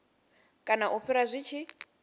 kana u fhira zwi tshi